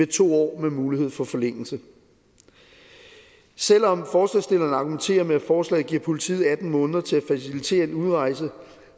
to år med mulighed for forlængelse selv om forslagsstillerne argumenterer med at forslaget giver politiet atten måneder til at facilitere en udrejse